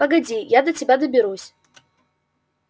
погоди я до тебя доберусь